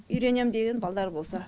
үйренем деген балдар болса